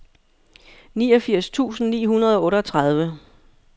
niogfirs tusind ni hundrede og otteogtredive